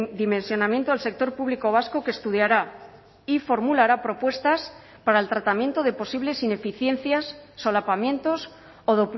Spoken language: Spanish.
dimensionamiento del sector público vasco que estudiara y formulará propuestas para el tratamiento de posibles ineficiencias solapamientos o